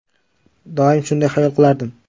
Doim shunday xayol qilardim.